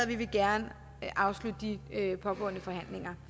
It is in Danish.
vi vil gerne afslutte de pågående forhandlinger